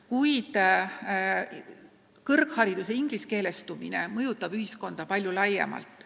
Kuid kõrghariduse ingliskeelestumine mõjutab ühiskonda palju laiemalt.